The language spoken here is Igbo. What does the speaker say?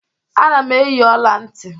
Ana m eyi ọla ntị.